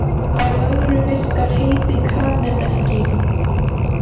Á öðru virkar heiti kraninn ekki.